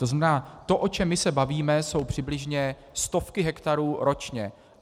To znamená, to, o čem my se bavíme, jsou přibližně stovky hektarů ročně.